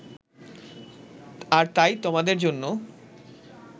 আর তাই তোমাদের জন্য